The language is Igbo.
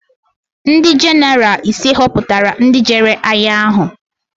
Ndị jenaraal ise họputara ndị jere agha ahụ.